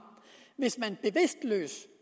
hvis man